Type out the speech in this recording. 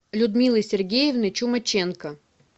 людмилы сергеевны чумаченко